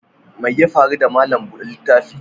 Mai ya faru da malam bude littafi?